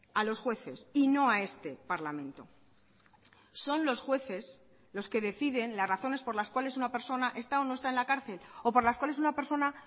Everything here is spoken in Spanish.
a los jueces y no a este parlamento son los jueces los que deciden las razones por las cuales una persona está o no está en la cárcel o por las cuales una persona